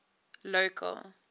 local